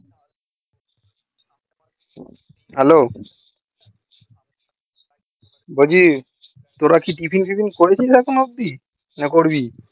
hello বলছি তোরা কি টিফিন ফিফিন করেছিস এখনো অবধি না করবি